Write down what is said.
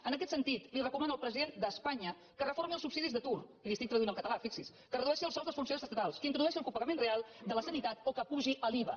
en aquest sentit recomana al president d’espanya que reformi els subsidis d’atur i li ho tradueixo al català fixi s’hi que redueixi els sous dels funcionaris estatals que introdueixi el copagament real de la sanitat o que apugi l’iva